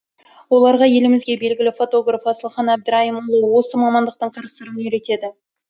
оларға елімізге белгілі фотограф асылхан әбдірайымұлы осы мамандықтың қыр сырын үйретеді